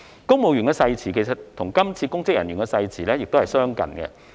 公務員的誓詞與今次公職人員的誓詞亦相近。